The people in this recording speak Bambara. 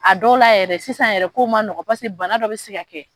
A dɔw la yɛrɛ sisan yɛrɛ kow man nɔgɔn bana dɔ bɛ se ka kɛ